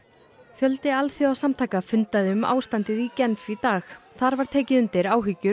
fjöldi alþjóðasamtaka fundaði um ástandið í Genf í dag þar var tekið undir áhyggjur